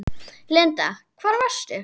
Linda: Hvar varstu?